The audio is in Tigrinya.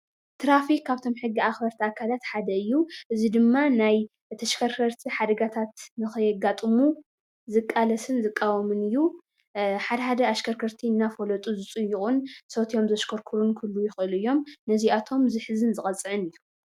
ትራፊክ ካብቶም ሕጊ ኣክበርቲ ኣካላት ሓደ እዩ፡፡ እዚ ድማ ናይ ተሽከርከርቲ ሓደጋታት ንከየጋጥሙ ዝቃለስን ዝቃወምን እዩ፡፡ ሓድሓደ ኣሽከርከርቲ ዝፅይቁን ሰትዮም ዘሽከርክሩን ክህልው ይኽእሉ እዮም ነዚኣቶም ዝሕዝን ዝቀፅዕን እዩ፡፡